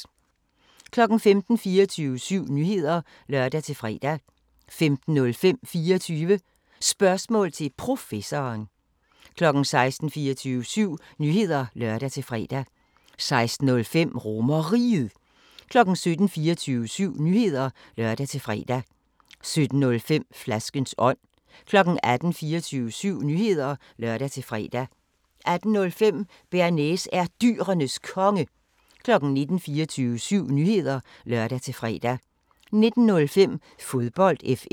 15:00: 24syv Nyheder (lør-fre) 15:05: 24 Spørgsmål til Professoren 16:00: 24syv Nyheder (lør-fre) 16:05: RomerRiget 17:00: 24syv Nyheder (lør-fre) 17:05: Flaskens ånd 18:00: 24syv Nyheder (lør-fre) 18:05: Bearnaise er Dyrenes Konge 19:00: 24syv Nyheder (lør-fre) 19:05: Fodbold FM